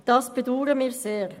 Das bedauern wir sehr.